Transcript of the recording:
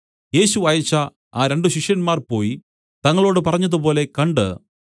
യേശു അയച്ച ആ രണ്ടു ശിഷ്യന്മാർ പോയി തങ്ങളോട് പറഞ്ഞതുപോലെ കണ്ട്